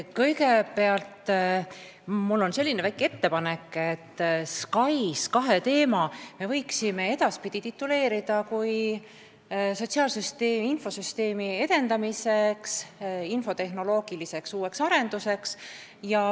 Kõigepealt, mul on selline väike ettepanek, et SKAIS2 teemast me võiksime edaspidi rääkida kui sotsiaalsüsteemi infosüsteemi edendamisest, uuest infotehnoloogilisest arendusest.